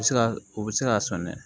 U bɛ se ka u bɛ se k'a sɔn dɛ